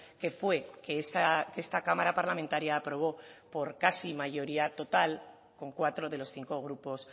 que fue que esta cámara parlamentaria aprobó por casi mayoría total con cuatro de los cinco grupos